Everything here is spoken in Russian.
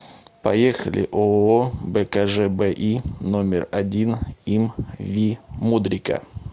поехали ооо бкжби номер один им ви мудрика